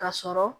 Ka sɔrɔ